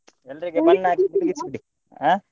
ಹಾ?